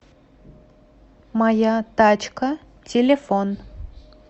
моя тачка телефон